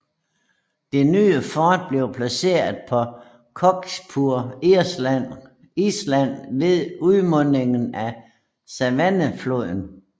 Det nye fort blev placeret på Cockspur Island ved udmundingen af Savannahfloden